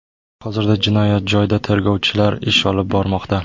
Hozirda jinoyat joyida tergovchilar ish olib bormoqda.